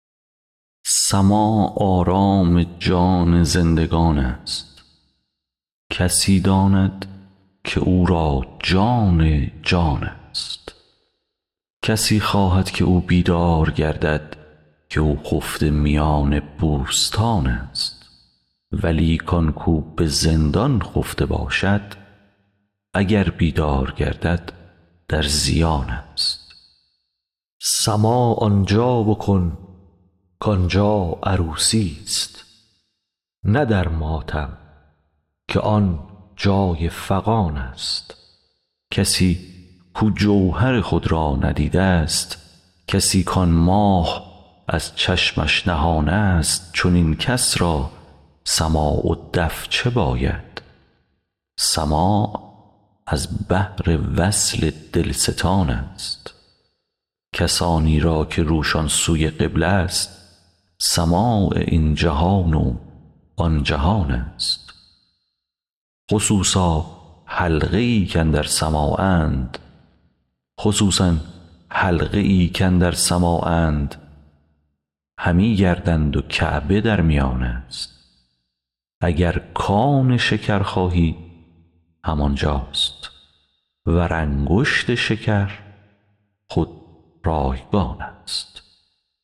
سماع آرام جان زندگان ست کسی داند که او را جان جان ست کسی خواهد که او بیدار گردد که او خفته میان بوستان ست ولیک آن کاو به زندان خفته باشد اگر بیدار گردد در زیان ست سماع آن جا بکن کآن جا عروسی ست نه در ماتم که آن جای فغان ست کسی کاو جوهر خود را ندیده ست کسی کآن ماه از چشمش نهان ست چنین کس را سماع و دف چه باید سماع از بهر وصل دلستان ست کسانی را که روشان سوی قبله ست سماع این جهان و آن جهان ست خصوصا حلقه ای کاندر سماعند همی گردند و کعبه در میان ست اگر کآن شکر خواهی همان جاست ور انگشت شکر خود رایگان ست